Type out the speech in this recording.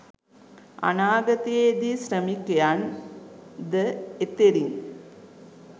අනාගතයේ දී ශ්‍රමිකයන් ද එතෙරින්